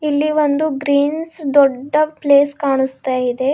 ಇಲ್ಲಿ ಒಂದು ಗ್ರೀನ್ಸ್ ದೊಡ್ಡ ಪ್ಲೇಸ್ ಕಾಣಿಸ್ತಾ ಇದೆ.